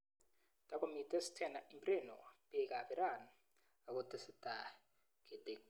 Takomitei Stena Impero peek ab. Iran akotesetai ketektoi